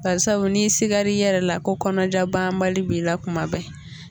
Barisabu n'i sigar'i yɛrɛ la ko kɔnɔja banbali b' i la tuma bɛɛ